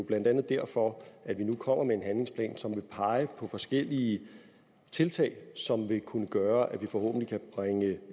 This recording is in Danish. blandt andet derfor at vi nu kommer med en handlingsplan som vil pege på forskellige tiltag som vil kunne gøre at vi forhåbentlig kan bringe